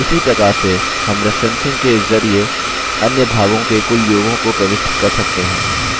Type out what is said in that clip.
उसी प्रकार से हम referencing के ज़रिये अन्य भागों के कुल योगों को प्रविष्ट कर सकते हैं